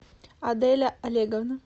аделя олеговна